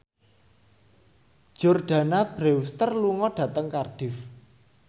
Jordana Brewster lunga dhateng Cardiff